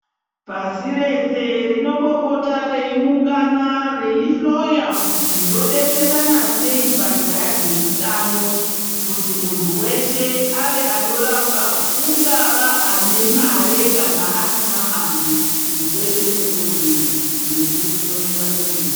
Pasi rese rinombopota reiungana reihloya kuti robetserana sei panyaya dzeutano. Kuti muntu veshe ave achirapwa kungava ane mare kana asina mari unekodzero yekuhloiwa nachiremba.